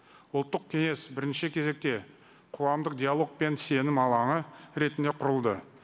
ұлттық кеңес бірінші кезекте қоғамдық диалог пен сенім алаңы ретінде құрылды